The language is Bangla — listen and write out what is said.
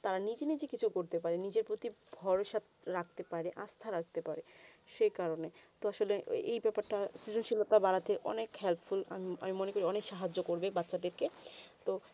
তারা নিজে থেকে কিছু করতে পায়ে না নিজে প্রতি ভরসা রাখতে পারে আস্থা রাখতে পারে সেই কারণে তো আসলে এই ব্যাপার তা শ্রীশিলিত বাড়াতে অনেক helpful আমি মনে করি ওয়ান সহজ করবে বাঁচা দেরকে তো